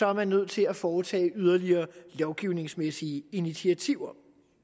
er man nødt til at foretage yderligere lovgivningsmæssige initiativer